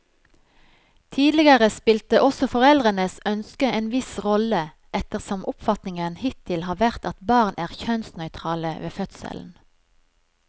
Tidligere spilte også foreldrenes ønske en viss rolle, ettersom oppfatningen hittil har vært at barn er kjønnsnøytrale ved fødselen.